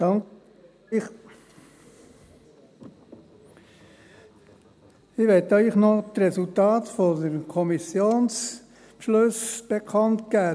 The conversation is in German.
der SiK. Ich möchte Ihnen noch das Resultat der Kommissionsbeschlüsse bekannt geben.